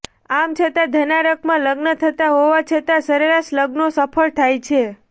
આમ છતાં ધનારકમાં લગ્ન થતાં હોવા છતાં સરેરાશ લગ્નો સફળ થાય છે